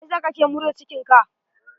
Me sa kake murza cikin ka?